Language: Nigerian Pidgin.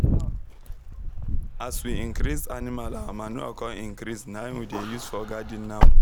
as we increase animal our manure come increase naim we dey use for garden now